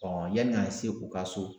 yani ka se u ka so.